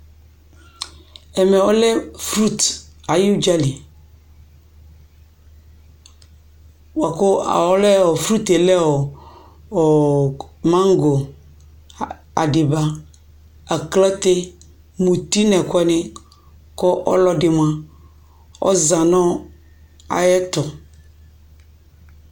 Ɛmɛ ɔlɛ frut ayʋ ʋdza li bʋa kʋ ɔlɛ ɔ frut yɛ lɛ ɔ maŋgo, adɩba, akĺate, muti nʋ ɛkʋɛnɩ kʋ ɔlɔdɩ mʋa, ɔza nʋ ayɛtʋ